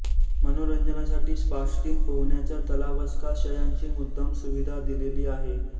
मनोरंजनासाठी स्पास्टीम पोहण्याचा तलावस्काशयांची मुद्दाम सुविधा दिलेली आहे